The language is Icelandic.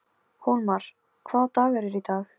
Hólmar, hvaða dagur er í dag?